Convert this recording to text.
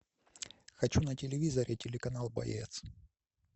хочу на телевизоре телеканал боец